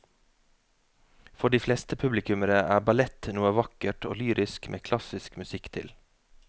For de fleste publikummere er ballett noe vakkert og lyrisk med klassisk musikk til.